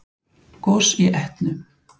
Gos í Etnu